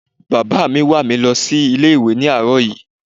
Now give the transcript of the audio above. Bàbá mi wà mi lọ sí ilé ìwé ni àróò yí